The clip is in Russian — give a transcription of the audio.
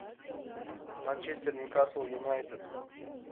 манчестер ньюкасл юнайтед